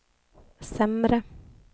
sämre